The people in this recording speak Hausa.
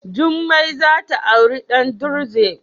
jummai za ta auren dan druze.